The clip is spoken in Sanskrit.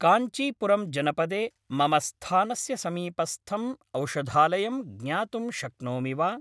काञ्चीपुरम् जनपदे मम स्थानस्य समीपस्थम् औषधालयं ज्ञातुं शक्नोमि वा?